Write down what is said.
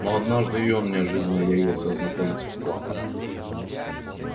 но однажды и он неожиданно явился ознакомиться с планом